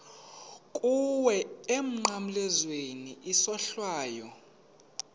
kuwe emnqamlezweni isohlwayo